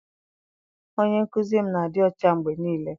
Onye nkụzi m na-adị ọcha mgbe niile.